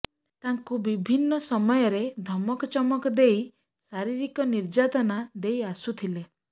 ତାଙ୍କୁ ବିଭିନ୍ନ ସମୟରେ ଧମକଚମକ ଦେଇ ଶାରୀରିକ ନିର୍ଯାତନା ଦେଇ ଆସୁଥିଲେ